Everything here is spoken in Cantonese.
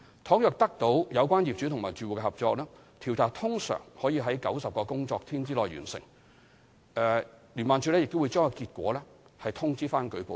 倘若得到有關業主或住戶的合作，調查通常可於90個工作天內完成，以及將結果通知舉報人。